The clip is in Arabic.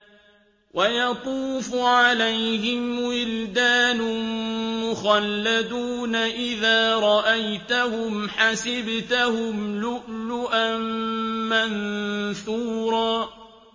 ۞ وَيَطُوفُ عَلَيْهِمْ وِلْدَانٌ مُّخَلَّدُونَ إِذَا رَأَيْتَهُمْ حَسِبْتَهُمْ لُؤْلُؤًا مَّنثُورًا